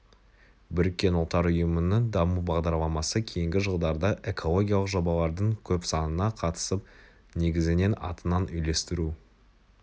біріккен ұлттар ұйымының даму бағдарламасы кейінгі жылдарда экологиялық жобалардың көп санына қатысып негізінен атынан үйлестіру